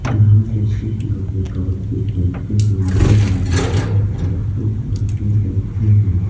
यहां पे कुछ लोग ये कबड्डी खेलते हुए नजर आ रहे हैं और कुछ लोग ये बैठे हैं।